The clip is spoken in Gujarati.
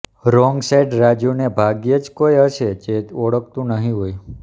રોંગ સાઈડ રાજુને ભાગ્યે જ કોઈ હશે જે ઓળખતું નહીં હોય